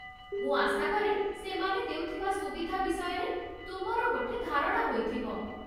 ମୁଁ ଆଶାକରେ ସେମାନେ ଦେଉଥିବା ସୁବିଧା ବିଷୟରେ ତୁମର ଗୋଟେ ଧାରଣା ହୋଇଥିବ।